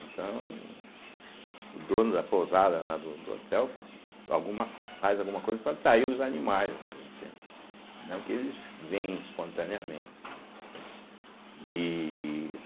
Então, o dono da pousada lá do do hotel alguma co faz alguma coisa para atrair os animais ali, entende, não que eles vêm espontaneamente, né, entende e.